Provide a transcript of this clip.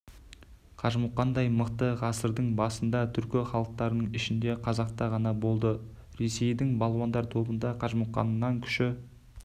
қажымұқандай мықты ғасырдың басында түркі халықтарының ішінде қазақта ғана болды ресейдің балуандар тобында қажымұқаннан күші